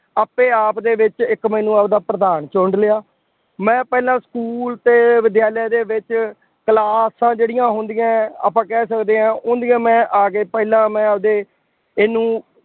ਆਪੇ ਆਪ ਦੇ ਵਿੱਚ ਇੱਕ ਮੈਨੂੰ ਆਪਦਾ ਪ੍ਰਧਾਨ ਚੁਣ ਲਿਆ। ਮੈਂ ਪਹਿਲਾਂ ਸਕੂ਼ਲ ਅਤੇ ਵਿਦਿਆਲਿਆ ਦੇ ਵਿੱਚ ਕਲਾਸਾਂ ਜਿਹੜੀਆ ਹੁੰਦੀਆਂ ਆਪਾਂ ਕਹਿ ਸਕਦੇ ਹਾਂ, ਉਹਦੀਆ ਮੈਂ ਆ ਕੇ, ਪਹਿਲਾਂ ਮੈਂ ਆਪਦੇ ਇਹਨੂੰ